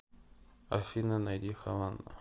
афина найди хавана